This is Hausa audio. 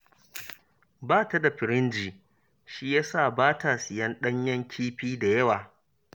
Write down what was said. Ba ta da firinji, shi ya sa ba ta siyan ɗanyen kifi da yawa